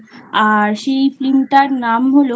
আর সেই Film টার নাম হল